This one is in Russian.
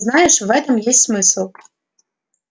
знаешь в этом есть смысл